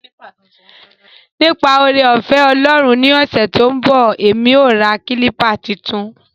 Nipa oore-ofe Olorun ni ose to n bo, emi o ra kilpa tuntun.